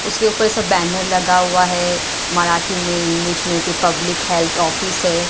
उसके ऊपर सब बैनर लगा हुआ है मराठी में इंग्लिश में की पब्लिक हेल्थ ऑफिस है।